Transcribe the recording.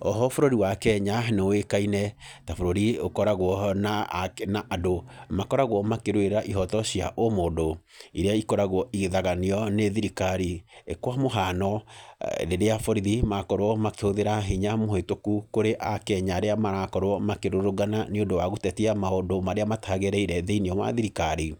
Oho bũrũri wa Kenya, nĩ ũĩkaine ta bũrũri ũkoragwo na na andũ, makoragwo makĩrũĩrĩra ihooto cia ũmũndũ, irĩa ikoragwo igithaganio nĩ thirikari. Kwa mũhano, rĩrĩa borithi makorwo makĩhũthĩra hinya mũhetũku kũrĩ Akenya arĩa marakorwo makĩrũrũngana nĩ ũndũ wa gũtetia maũndũ marĩa matagĩrĩire thĩiniĩ wa thirikari,